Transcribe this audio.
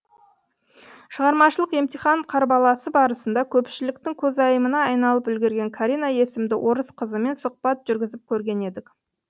шығармашылық емтихан қарбаласы барысында көпшіліктің көзайымына айналып үлгерген карина есімді орыс қызымен сұхбат жүргізіп көрген едік